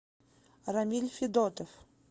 рамиль федотов